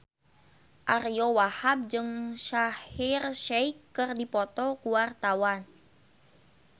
Ariyo Wahab jeung Shaheer Sheikh keur dipoto ku wartawan